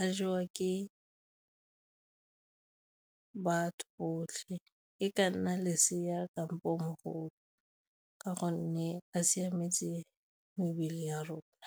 a jewa ke batho botlhe, e ka nna lesea kampo mogolo ka gonne a siametse mebele ya rona.